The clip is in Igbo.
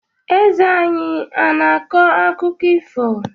Eze anyị ana-akọ akụkọ ifo?